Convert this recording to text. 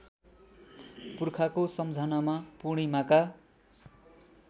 पुर्खाको सम्झनामा पूर्णिमाका